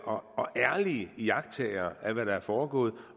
og ærlige iagttagere af hvad der er foregået og